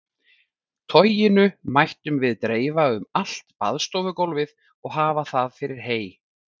Toginu mættum við dreifa um allt baðstofugólfið og hafa það fyrir hey.